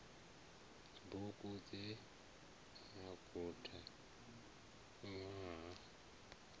bugu dze na guda ṅwaha